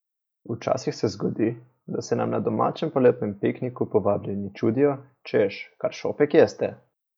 Včasih se zgodi, da se nam na domačem poletnem pikniku povabljeni čudijo, češ, kar šopek jeste?